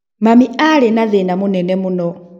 mami arĩ na thĩna mũnene mũno